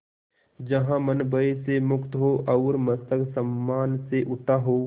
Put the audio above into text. जहाँ मन भय से मुक्त हो और मस्तक सम्मान से उठा हो